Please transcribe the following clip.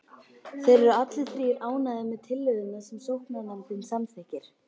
Þeir eru allir þrír ánægðir með tillögurnar sem sóknarnefndin samþykkir.